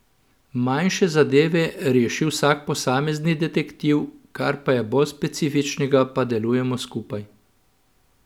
Manjše zadeve reši vsak posamezni detektiv, kar pa je bolj specifičnega, pa delujemo skupaj.